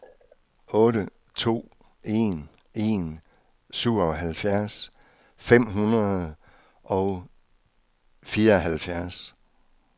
otte to en en syvoghalvfjerds fem hundrede og fireoghalvfjerds